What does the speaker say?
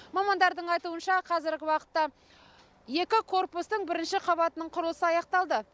мамандардың айтуынша қазіргі уақытта екі корпустың бірінші қабатының құрылысы аяқталды